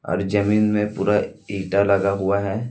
और जमीन में पूरा ईटा लगा हुआ हैं।